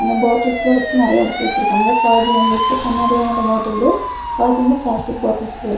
இந்த பாட்டில்ஸ்லா வச்சி நெறையா அடுக்கி வச்சிருக்காங்க பாதி வந்துட்டு கண்ணாடியால ஆன பாட்டிலு பாதி வந்து பிளாஸ்டிக் பாட்டில்ஸ்ல இருக்--